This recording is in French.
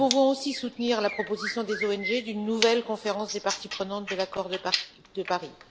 Nous pouvons aussi soutenir la proposition des ONG en faveur d'une nouvelle conférence des parties prenantes de l'accord de Paris.